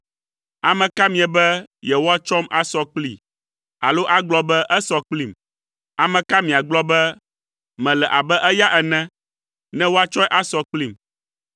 “Ame ka miebe yewoatsɔm asɔ kplii alo agblɔ be esɔ kplim? Ame ka miagblɔ be mele abe eya ene, ne woatsɔe asɔ kplim?